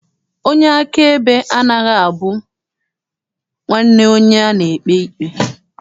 Onye akaebe anaghị abụ nwanne onye a na-ekpe ikpe.